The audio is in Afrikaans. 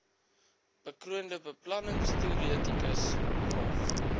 bekroonde beplanningsteoretikus prof